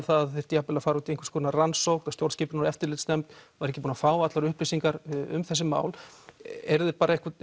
það þyrfti jafn vel að fara út í einhvers konar rannsókn stjórnskipunar og eftirlitsnefnd var ekki búin að fá allar upplýsingar um þessi mál eruð þið